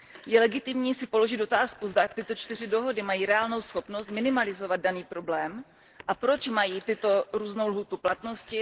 Je legitimní si položit otázku, zda tyto čtyři dohody mají reálnou schopnost minimalizovat daný problém a proč mají různou lhůtu platnosti.